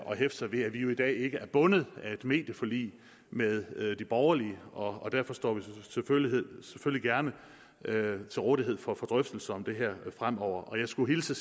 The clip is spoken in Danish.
sig ved at vi jo i dag ikke er bundet af et medieforlig med de borgerlige og derfor står vi selvfølgelig gerne til rådighed for drøftelser om det her fremover jeg skulle hilse